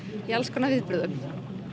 í alls konar viðburðum